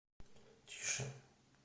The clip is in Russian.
тише